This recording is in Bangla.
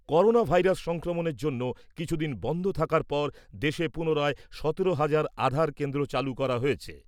করোনা ভাইরাস সংক্রমণের জন্য কিছুদিন বন্ধ থাকার পর দেশে পুনরায় সতেরো হাজার আধার কেন্দ্র চালু করা হয়েছে।